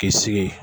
K'i sigi